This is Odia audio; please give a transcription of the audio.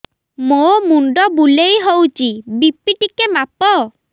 ମୋ ମୁଣ୍ଡ ବୁଲେଇ ହଉଚି ବି.ପି ଟିକେ ମାପ